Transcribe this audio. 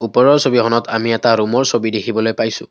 ওপৰৰ ছবিখনত আমি এটা ৰুমৰ ছবি দেখিবলৈ পাইছোঁ।